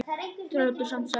Ráddu samt, sagði Björn.